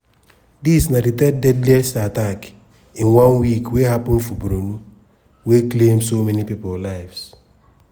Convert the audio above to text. dis na di third deadliest attack in one week wey happun for borno wey claim so many lives.